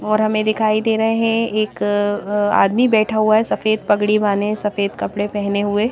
और हमें दिखाई दे रहे हैं एक आदमी बैठा हुआ है सफेद पगड़ी बाने सफेद कपड़े पहने हुए।